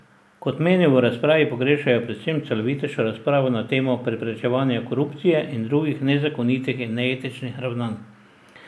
Kot menijo, v razpravi pogrešajo predvsem celovitejšo razpravo na temo preprečevanja korupcije in drugih nezakonitih in neetičnih ravnanj.